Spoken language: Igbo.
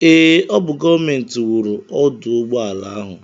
Ee, ọ bụ gọọmenti wuru ọdụụgbọala ahụ.